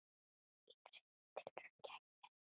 Í þriðju tilraun gekk betur.